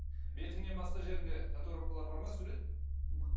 бетіңнен басқа жеріңде татуировкалар бар ма сурет